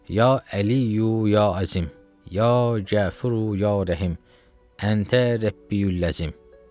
Ya Əliyyü, ya Əzim, ya Qəfuru, ya Rəhim, Əntə Rəbbiyül Əzim.